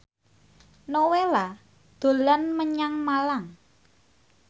Nowela dolan menyang Malang